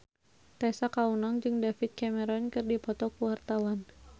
Tessa Kaunang jeung David Cameron keur dipoto ku wartawan